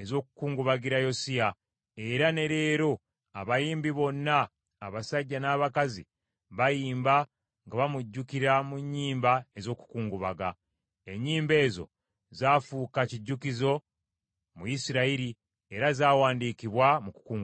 ez’okukungubagira Yosiya, era ne leero abayimbi bonna abasajja n’abakazi bayimba nga bamujjukira mu nnyimba ez’okukungubaga. Ennyimba ezo zaafuuka kijjukizo mu Isirayiri era zawandiikibwa mu kungubaga.